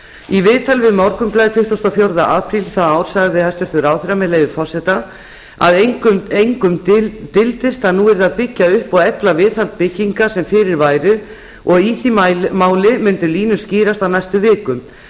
í viðtali við morgunblaðið tuttugasta og fjórða apríl það ár sagði hæstvirtur ráðherra með leyfi forseta að engum dyldist að nú yrði að byggja upp og efla viðhald bygginga sem fyrir væru og í því máli myndu línur skýrast á næstu vikum